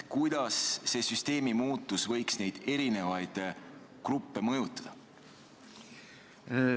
Kuidas see süsteemi muutus võiks neid erinevaid gruppe mõjutada?